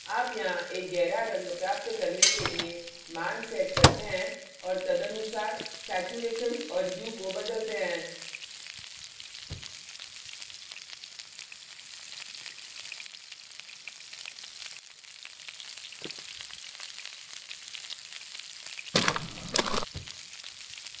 आप यहाँ एक गहरा रंग प्राप्त करने के लिए मान set करते हैं और तदनुसार saturation और hue को बदलते हैं